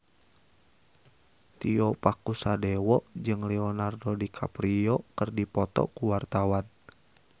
Tio Pakusadewo jeung Leonardo DiCaprio keur dipoto ku wartawan